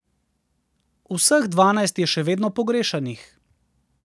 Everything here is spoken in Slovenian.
Vseh dvanajst je še vedno pogrešanih.